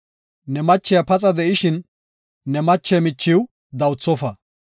“Ne machiya paxa de7ishin, ne mache michiw dawuthofa.